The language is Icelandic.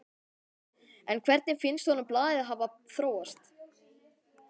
En hvernig finnst honum blaðið hafa þróast?